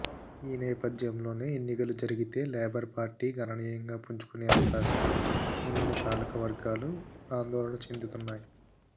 ఈ నేపథ్యంలోనే ఎన్నికలు జరిగితే లేబర్ పార్టీ గణనీయంగా పుంజుకునే అవకాశం ఉందని పాలకవర్గాలు ఆందోళన చెందుతున్నాయి